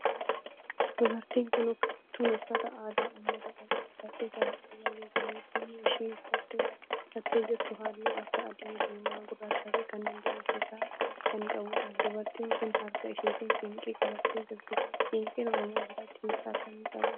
Dubartiin tun uffata aadaa ummata oromoo uffattee farda irra jirti. uffanni isheen uffattee jirtu halluu akka adii, diimaa, gurraachaa fi kanneen biroo of irraa kan qabudha. dubartiin tun harka isheetti siinqee qabattee jirti. siinqeen oromoo biratti hiika akkamii qaba?